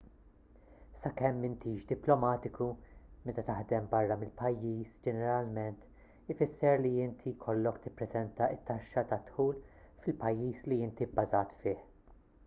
sakemm m'intix diplomatiku meta taħdem barra mill-pajjiż ġeneralment ifisser li inti jkollok tippreżenta t-taxxa tad-dħul fil-pajjiż li inti bbażat fih